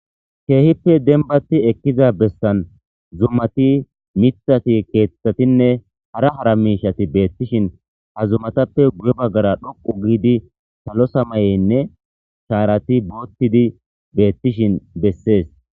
Keehippe denbati ekkiza bessan zummati mithati keeththatinne hara hara miishati beettishin ha zumatappe guye baggara dhoqu giidi salo samayeynne shaarati boottidi beettishin bessees.